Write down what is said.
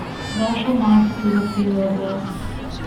Vaša mati to zahteva od vas.